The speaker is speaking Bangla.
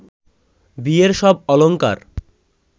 বিয়ের সব অলংকার